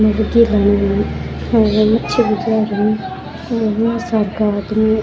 मच्छी बाजार है --